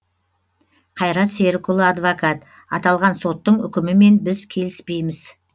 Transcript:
қайрат серікұлы адвокат аталған соттың үкімімен біз келіспейміз